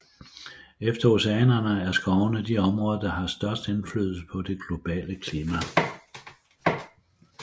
Efter oceanerne er skovene de områder der har størst indflydelse på det globale klima